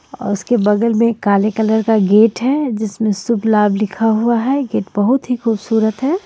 और उसके बगल में काले कलर का गेट है जिसमे शुभ लाभ लिखा हुआ है गेट बहुत ही खूबसूरत हैं.